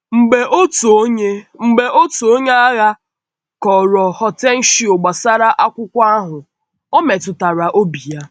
Mgbe otu onye Mgbe otu onye aghà kọ̀rọ̀ Hortêncio gbasara akwụkwọ ahụ, ọ̀ metụtara obi ya.